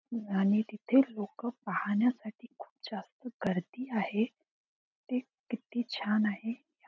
आणि तिथे लोक पाहण्यासाठी खूप जास्त गर्दी आहे. ते किती छान आहे.